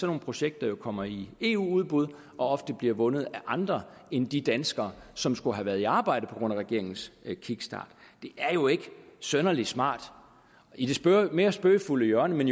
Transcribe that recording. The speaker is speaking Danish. nogle projekter kommer i eu udbud og ofte bliver vundet af andre end de danskere som skulle have været i arbejde på grund af regeringens kickstart det er jo ikke synderlig smart i det mere spøgefulde hjørne men